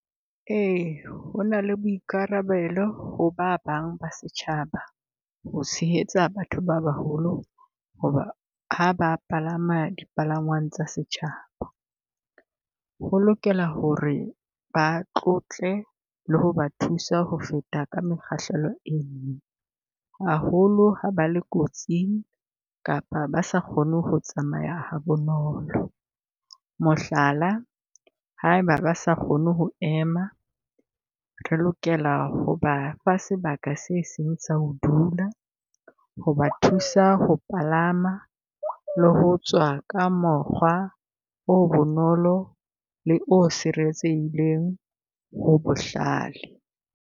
Ee, ho na le boikarabelo ho ba bang ba setjhaba ho tshehetsa batho ba baholo ho ba ha ba palama di palangwang tsa setjhaba. Ho lokela ho re ba tlotle le ho ba thusa ho feta ka mekgahlelo e , haholo ha ba le kotsing kapa ba sa kgone ho tsamaya ha bonolo. Mohlala, ha eba ba sa kgone ho ema, re lokela ho ba fa sebaka se seng sa ho dula, ho ba thusa ho palama le ho tswa ka mokgwa o bonolo le o sireletsehileng ho bohlale.